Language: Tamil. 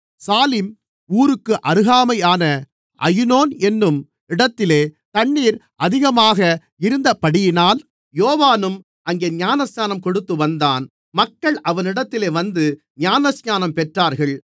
சாலிம் ஊருக்கு அருகாமையான அயினோன் என்னும் இடத்திலே தண்ணீர் அதிகமாக இருந்தபடியினால் யோவானும் அங்கே ஞானஸ்நானம் கொடுத்து வந்தான் மக்கள் அவனிடத்தில் வந்து ஞானஸ்நானம் பெற்றார்கள்